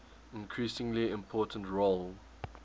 increasingly important role